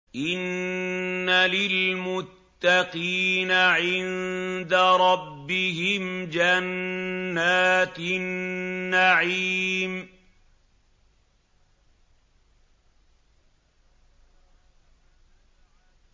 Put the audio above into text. إِنَّ لِلْمُتَّقِينَ عِندَ رَبِّهِمْ جَنَّاتِ النَّعِيمِ